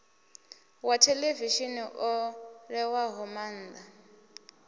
wa theḽevishini o ṋewaho maanḓa